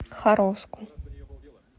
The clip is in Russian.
харовску